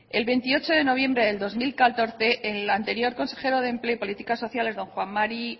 el veintiocho de noviembre del dos mil catorce el anterior consejero de empleo y políticas sociales don juan mari